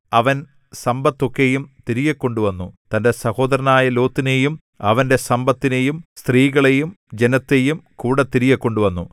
അവൻ സമ്പത്തൊക്കെയും തിരികെക്കൊണ്ടു വന്നു തന്റെ സഹോദരനായ ലോത്തിനെയും അവന്റെ സമ്പത്തിനെയും സ്ത്രീകളെയും ജനത്തെയും കൂടെ തിരികെക്കൊണ്ടു വന്നു